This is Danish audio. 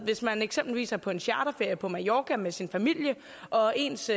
hvis man eksempelvis er på en charterferie på mallorca med sin familie og ens